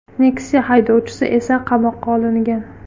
Nexia haydovchisi esa qamoqqa olingan.